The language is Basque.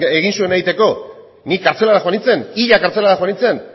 egin zuena egiteko ni kartzelara joan nintzen ia kartzelara joan nintzen